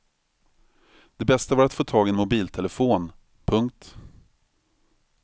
Det bästa var att få tag i en mobiltelefon. punkt